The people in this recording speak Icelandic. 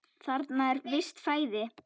Þarna er visst flæði.